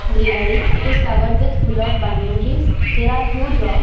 Greenery it is covered with full of banyan trees there are huge rocks.